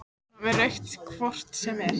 Hún var með rautt hvort sem er.